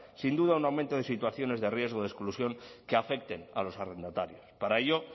sin duda un aumento de situaciones de riesgo de exclusión que afecten a los arrendatarios para ello